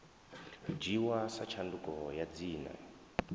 dzhiiwa sa tshanduko ya dzina